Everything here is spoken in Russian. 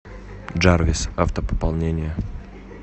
джарвис автопополнение